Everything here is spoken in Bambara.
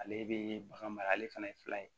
Ale bɛ bagan mara ale fana ye fila ye